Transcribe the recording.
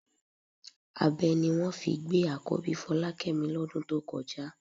Abẹ ni wọ́n fi gbé àkọ́bí Fọlákẹ́mi lọ́dún tó kọjá